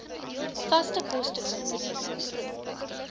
vaste kostekomponent pro